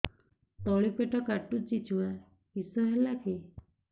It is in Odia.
ତଳିପେଟ କାଟୁଚି ଛୁଆ କିଶ ହେଲା କି